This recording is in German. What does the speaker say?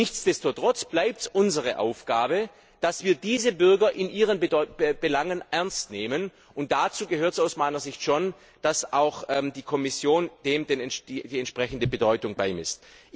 Nichtsdestotrotz bleibt es unsere Aufgabe, dass wir diese Bürger in ihren Belangen ernst nehmen, und dazu gehört aus meiner Sicht schon, dass auch die Kommission dem die entsprechende Bedeutung beimisst.